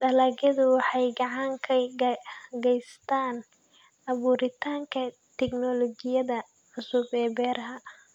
Dalagyadu waxay gacan ka geystaan ??abuuritaanka tignoolajiyada cusub ee beeraha.